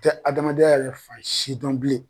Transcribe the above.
Tɛ adamadenya yɛrɛ fan si dɔn bilen.